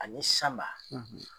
Ani Sanba,